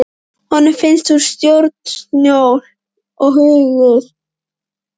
Honum finnst hún stórsnjöll og huguð.